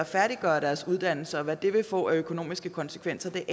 færdiggøre deres uddannelse og hvad det vil få af økonomiske konsekvenser